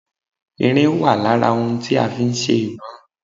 Irin wà lára ohun tí a fi ń ṣe ìbọn